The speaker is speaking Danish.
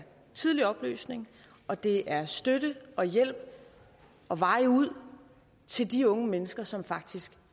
tidlig oplysning og det er støtte og hjælp og veje ud til de unge mennesker som faktisk